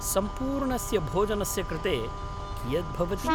सम्पूर्णस्य भोजनस्य कृते कियत् भवति?